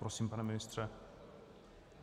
Prosím, pane ministře.